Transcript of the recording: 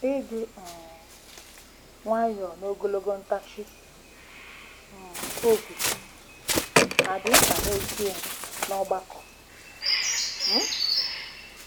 Ịdị um nwayọọ na ogologo ntachi um obi hà dị mkpa n'ezie n'ọgbakọ um?